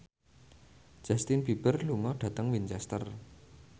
Justin Beiber lunga dhateng Winchester